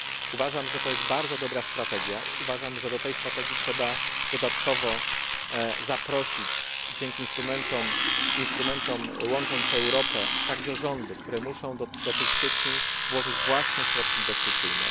Uważam, że to jest bardzo dobra strategia, uważam, że do tej strategii trzeba dodatkowo zaprosić dzięki instrumentom Łącząc Europę także rządy, które muszą do tych sieci włożyć własne środki inwestycyjne.